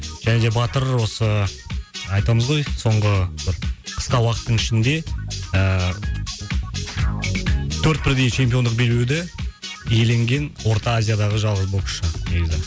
және де батыр осы айтамыз ғой соңғы ы бір қысқа уақыттың ішінде ыыы төрт бірдей чемпиондық белбеуді иеленген орта азиядағы жалғыз боксшы негізі